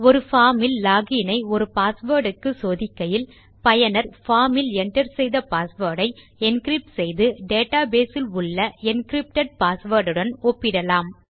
ஒரு பார்ம் இல் log in ஐ ஒரு பாஸ்வேர்ட் க்கு சோதிக்கையில் பயனர் பார்மில் என்டர் செய்த பாஸ்வேர்டை என்கிரிப்ட் செய்து டேட்டா பேஸ் இல் உள்ள என்கிரிப்டட் பாஸ்வேர்ட் உடன் ஒப்பிடலாம்